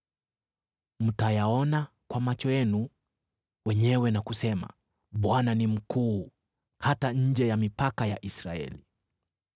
Mtayaona kwa macho yenu wenyewe na kusema, ‘ Bwana ni mkuu, hata nje ya mipaka ya Israeli!’